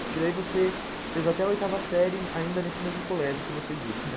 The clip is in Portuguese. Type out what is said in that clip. Porque daí você fez até oitava série ainda nesse mesmo colégio que você disse, né?